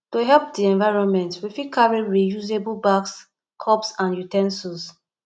to help di environment we fit carry reusable bags cups and u ten sils